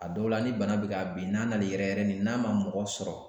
A dɔw la ni bana bɛ ka bin n'a nan'i yɛrɛ yɛrɛ ni n'a ma mɔgɔ sɔrɔ.